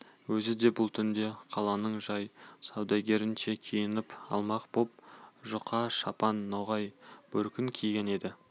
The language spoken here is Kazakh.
өзі бұл түнде қаланың жай саудагерінше киініп алмақ боп жұқа шапан ноғай бөркін киген еді